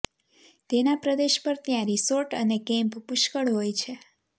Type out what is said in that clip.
તેના પ્રદેશ પર ત્યાં રીસોર્ટ અને કેમ્પ પુષ્કળ હોય છે